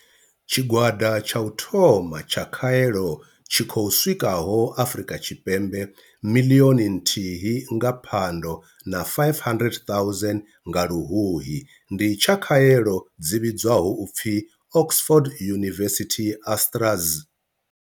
Tshigwada tsha u thoma tsha khaelo tshi khou swikaho Afrika Tshipembe miḽioni nthihi nga Phando na 500 000 nga Luhuhi ndi tsha khaelo dzi vhidzwaho u pfi Oxford University-AstraZ.